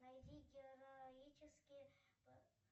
найди героические